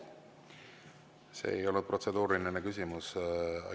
See ei ole protseduuriline küsimus.